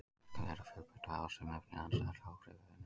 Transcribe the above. Verkun þeirra er fjölbreytt og hafa sum efnin andstæð áhrif við önnur.